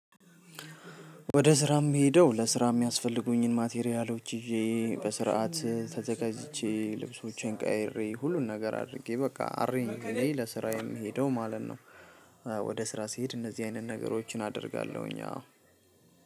ወደ ስራ የምሄደው ለስራ የሚያስፈልጉኝን ማቴሪያሎች ይዤ በስርዓት ተዘጋጅቼ ልብሶቼን ቀያይሬ ሁሉን ነገር አድርጌ በቃ አሬንጅ ለስራ የምሄደው ማለት ነው። ወደ ስራ ስሄድ እነዚህ አይነት ነገሮችን አደርጋለሁኝ አዎ